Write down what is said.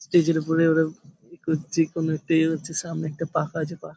stage -এর ওপরে ওরা এ করছে কোনো একটা এ হচ্ছে সামনে একটা পাখা আছে পা --